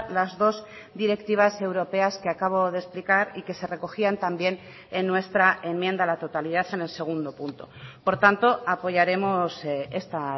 las dos directivas europeas que acabo de explicar y que se recogían también en nuestra enmienda a la totalidad en el segundo punto por tanto apoyaremos esta